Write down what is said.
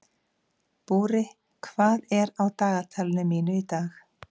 Búri, hvað er á dagatalinu mínu í dag?